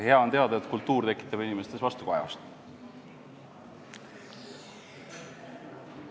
Hea on teada, et kultuur tekitab inimestes vastukajasid!